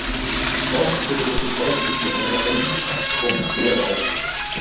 Oft hefur þessi staðbundni orðaforði ekki komist í orðabækur.